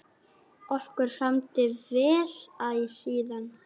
Okkur samdi vel æ síðan.